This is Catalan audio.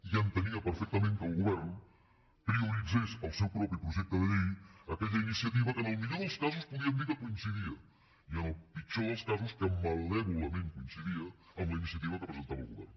i entenia perfectament que el govern prioritzés el seu propi projecte de llei aquella iniciativa que en el millor dels casos podíem dir que coincidia i en el pitjor dels casos que malèvolament coincidia amb la iniciativa que presentava el govern